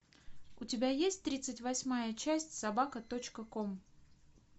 у тебя есть тридцать восьмая часть собака точка ком